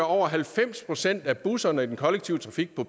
over halvfems procent af busserne i den kollektive trafik nu